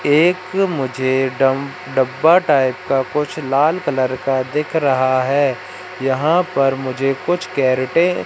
एक मुझे डम डब्बा टाइप का कुछ लाल कलर का दिख रहा है। यहां पर मुझे कुछ कैरेटे --